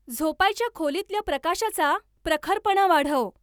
झोपायच्या खोलीतल्या प्रकाशाचा प्रखरपणा वाढव.